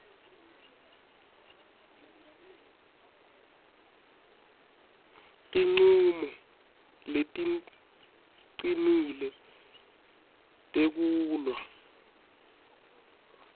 tincumo leticinile tekulwa